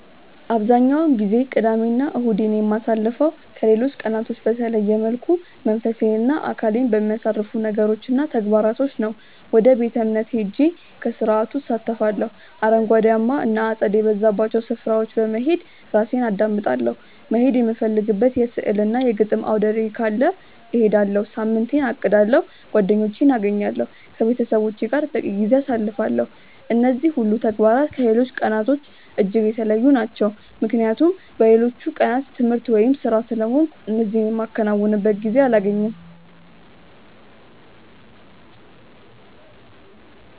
አብዛኛውን ጊዜ ቅዳሜ እና እሁዴን የማሳልፈው ከሌሎች ቀናቶች በተለየ መልኩ መንፈሴን እና አካሌን በሚያሳርፉ ነገሮች እና ተግባራቶች ነው። ወደ ቤተ-እምነት ሄጄ ከስርዓቱ እሳተፋለሁ፤ አረንጓዴያማ እና አጸድ የበዛባቸው ስፍራዎች በመሄድ ራሴን አዳምጣለሁ፤ መሄድ የምፈልግበት የሥዕል እና የግጥም አውደርዕይ ካለ እሄዳለሁ፤ ሳምንቴን አቅዳለሁ፤ ጓደኞቼን አገኛለሁ፤ ከቤተሰቦቼ ጋር በቂ ጊዜ አሳልፋለሁ። እነዚህ ሁሉ ተግባራት ከሌሎች ቀናቶች እጅግ የተለዩ ናቸው ምክንያቱም በሌሎቹ ቀናት ትምህርት ወይም ስራ ስለሆንኩ እነዚህ የማከናውንበት ጊዜ አላገኝም።